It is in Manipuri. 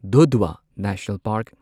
Dudhwa national park